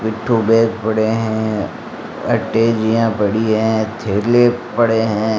पिट्ठू बैग पड़े हैं अटैचिया पड़ी हैं थैले पड़े हैं।